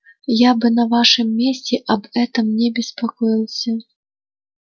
я бы на вашем месте об этом не беспокоился